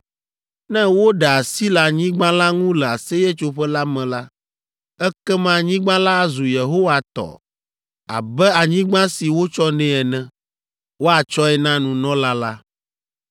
Ne woɖe asi le anyigba la ŋu le Aseyetsoƒe la me la, ekema anyigba la azu Yehowa tɔ abe anyigba si wotsɔ nɛ ene. Woatsɔe na nunɔla la.